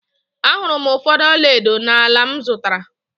Ahụrụ m ụfọdụ ọla edo n’ala m zụtara